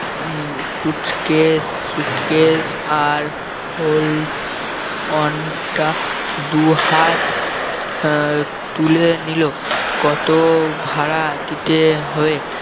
উম suitcase suitcase আর hold on টা দু হাত আহ তুলে নিল কত ভাড়া দিতে হবে